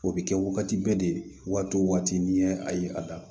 O bɛ kɛ wagati bɛɛ de waati o waati ni y' a ye a da